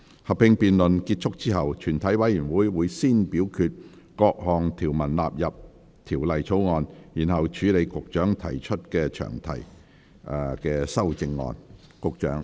合併辯論結束後，全體委員會會先表決各項條文納入《條例草案》，然後處理局長就詳題提出的修正案。